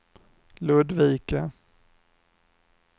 Ludvika